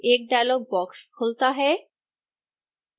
एक dialog box खुलता है